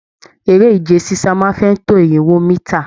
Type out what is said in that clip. Eré ìje sisa máa n fẹ tó irinwó mítà.